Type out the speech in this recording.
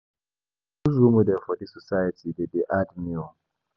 To choose role model for dis society dey hard um